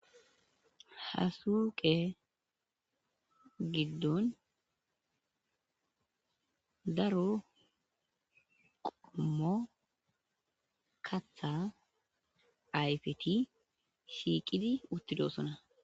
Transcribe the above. Ha suuqe giddon dara qommo katha ayfeti shiiqidi utidoosona